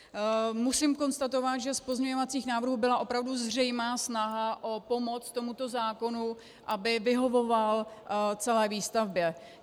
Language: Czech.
Musím konstatovat, že z pozměňovacích návrhů byla opravdu zřejmá snaha o pomoc tomuto zákonu, aby vyhovoval celé výstavbě.